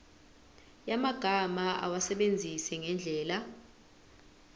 yamagama awasebenzise ngendlela